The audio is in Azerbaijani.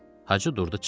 Hacı durdu çıxdı.